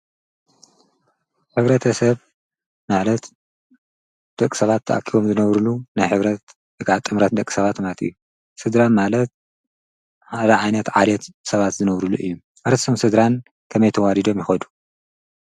ሕብረት ሰብ ማለት ደቕ ሰባት ተኣኪቦም ዝነብሩሉ ናይ ሕብረት ወይ ኻዓ ጥምረት ደቕ ሰባት ማለት እዩ። ስድራ ማለት ሓደ ዓይነት ዓልት ሰባት ዘነብሩሉ እዩ። ኣርስትን ስድራን ከመይ ተዋዲዶም ይኸዱ?